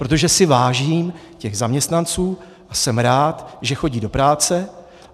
Protože si vážím těch zaměstnanců a jsem rád, že chodí do práce.